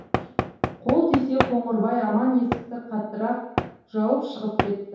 қол тисе қоңырбай емен есікті қаттырақ жауып шығып кетті